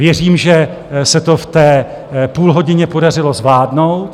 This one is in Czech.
Věřím, že se to v té půlhodině podařilo zvládnout.